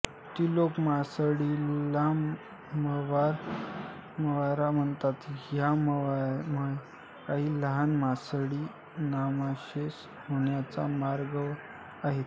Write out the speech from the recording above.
ती लोक मासळीला म्हावरा म्हणतात ह्या म्हावर्यात काही लहान मासळी नामशेष होण्याच्या मार्गावर आहेत